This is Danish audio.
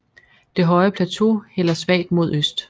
Det høje plateau hælder svagt mod øst